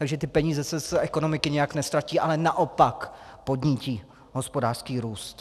Takže ty peníze se z ekonomiky nijak neztratí, ale naopak podnítí hospodářský růst.